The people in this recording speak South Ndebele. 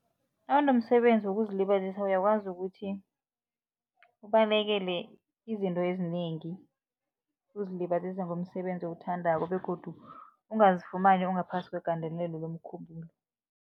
nomsebenzi wokuzilibazisa uyakwazi ukuthi ubalekele izinto ezinengi ukuzilibazisa ngomsebenzi owuthandako begodu ungazifumana ngaphasi kwegandelelo lomkhumbulo.